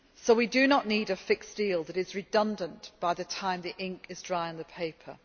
We do not need a fixed deal that is redundant by the time the ink is dry on the paper.